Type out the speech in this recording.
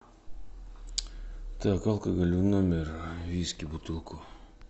так алкоголь в номер виски бутылку